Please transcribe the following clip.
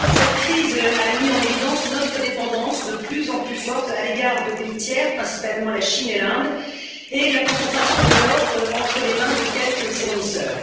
Cette crise a mis en évidence notre dépendance de plus en plus forte à l'égard de pays tiers, principalement la Chine et l'Inde, et la concentration de l'offre entre les mains de quelques fournisseurs.